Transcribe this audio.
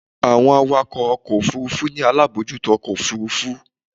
Àwọn awakọ̀ ọkọ̀ Òfurufú ni alábòójútó ọkọ̀ Òfurufú.